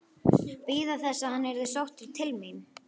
Bíða þess að hann yrði sóttur til mín?